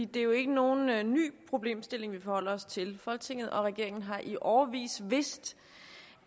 det er jo ikke nogen ny problemstilling vi forholder os til folketinget og regeringen har i årevis vidst